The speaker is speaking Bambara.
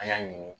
An y'a ɲini